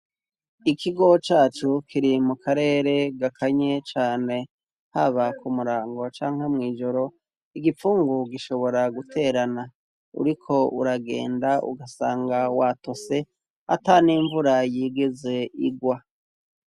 Ikigo cacu kiri mu karere gakanye cane haba ku murango canke mw'ijoro igipfungu gishobora guterana uriko uragenda ugasanga wato se ata n'imvura yigeze igwa.